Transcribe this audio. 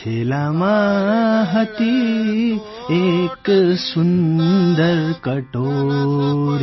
થેલામાં હતી એક સુંદર કટોરી